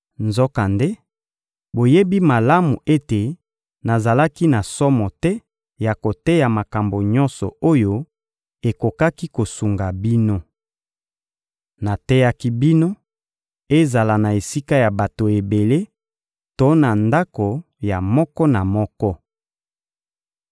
Nzokande, boyebi malamu ete nazalaki na somo te ya koteya makambo nyonso oyo ekokaki kosunga bino. Nateyaki bino, ezala na esika ya bato ebele to na ndako ya moko na moko.